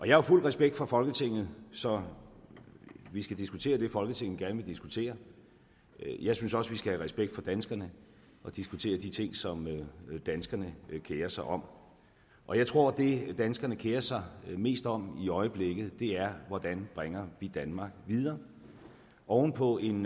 jo fuld respekt for folketinget så vi skal diskutere det folketinget gerne vil diskutere jeg synes også vi skal have respekt for danskerne og diskutere de ting som danskerne kerer sig om og jeg tror at det danskerne kerer sig mest om i øjeblikket er hvordan vi bringer danmark videre oven på en